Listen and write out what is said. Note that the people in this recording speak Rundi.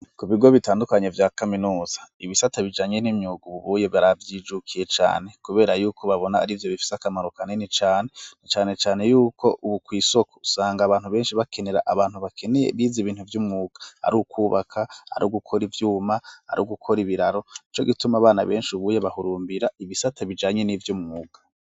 Ku bigo bitandukanye vya kaminuza, ibisata bijanye n'imyuga bubuye baribyijukiye cane kubera yuko babona ari vyo bifise akamaro kanini cane cyane cyane yuko ubu ku isoko usanga abantu benshi bakenera abantu bakeneye biza ibintu vy'umwuga ari ukubaka ari gukora ivyuma ari gukora ibiraro ico gituma abana benshi ubuye bahurumbira ibisata bijanye n'ivyo mwuga.